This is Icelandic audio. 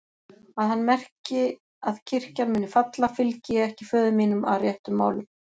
Að hann merki að kirkjan muni falla, fylgi ég ekki föður mínum að réttum málum.